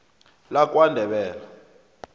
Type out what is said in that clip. lakwandebele